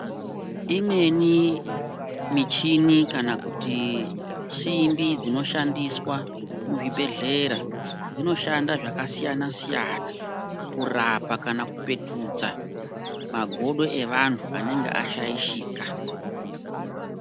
Imweni michini kana kuti simbi dzinoshandiswa muzvibhehlera dzinoshanda zvakasiyana-siyana kurapa kana kupetudza magodo evantu anenge ashaishika.